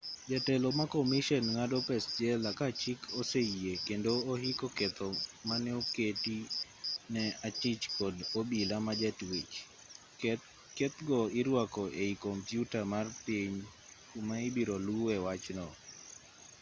jatelo makomishen ng'ado pes-jela kachik oseyie kendo ohiko ketho maneoketi ne achich kod obila majatwech keth go iruako ei compyuta mar piny kuma ibirolue wachno